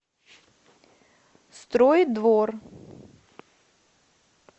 строй двор